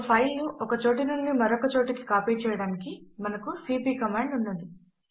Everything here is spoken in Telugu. ఒక ఫైల్ ను ఒక చోటు నుంచి మరొక చోటుకి ఎలా కాపీ చేయడానికి మనకు సీపీ కమాండ్ ఉన్నది